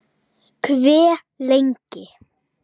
Hve lengi?